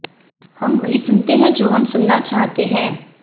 हम वही सुनते हैं जो हम सुनना चाहते हैं